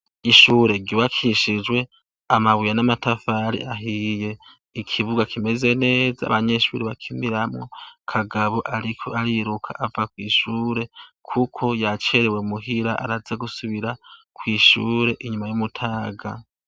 Ishure ryubakishijwe amabuye n'amatafari ahiye, ikibuga kimeze neza, abanyeshure bakiniramwo. Kagabo ariko ariruka ava kw'ishure kuko yacerewe muhira araza gusubira kw'ishure inyuma y'umutaga.